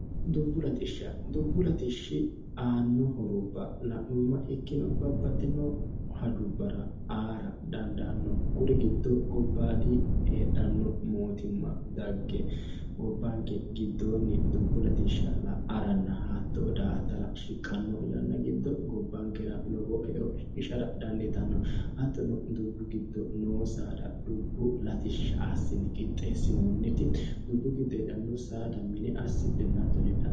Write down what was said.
dubbu latishsha dubbu latishshi aanno horubba la'mumma ikkino babbaxxino hajubbara aara dandaanno kuri giddo gobbaadi heedhanno mootimma dagge gobbaanke giddoonni dubbu latishsha la'aranna hatto da attara shiqqanno yanna giddo gobbaankera lobo eo shiqishshara dandiitanno hattono dubbu giddo noo saada dubbu latishsha aassine qixxeessinoonnitti dubbu giddo heedhanno saada mine assidhe hattono heedhano.